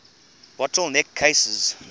bottle neck cases